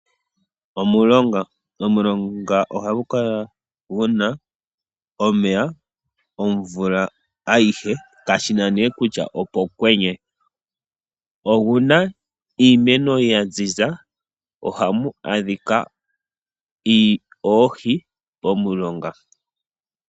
Omulonga, omulonga ohagu kala guna omeya omvula ayihe kashina née kutya opethimbo lyokwenye. Momulonga omuna iimeno yaziza nawa mo ohamu adhika oohi.